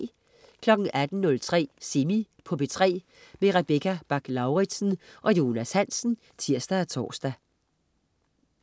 18.03 Semi på P3. Rebecca Bach-Lauritsen og Jonas Hansen (tirs og tors)